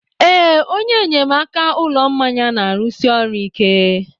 Ee, onye enyemaka ụlọ mmanya na-arụsi ọrụ ike.